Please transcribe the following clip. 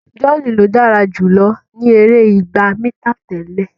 John ló dára jùlọ ní èrè ìgbà mítà tẹlẹ.